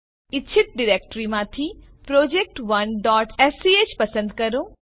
ઇચ્છિત ડિરેક્ટરીમાંથી project1સ્ક પસંદ કરો